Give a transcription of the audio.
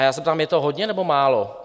A já se ptám: Je to hodně, nebo málo?